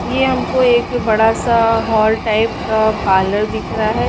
ये हमको एक बड़ा सा हॉल टाइप का पार्लर दिख रहा है ।